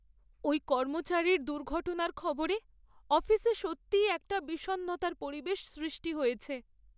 ওই কর্মচারীর দুর্ঘটনার খবরে অফিসে সত্যিই একটা বিষণ্ণতার পরিবেশ সৃষ্টি হয়েছে।